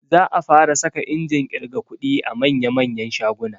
Za a fara saka injin ƙirga kuɗi a manya manyan shaguna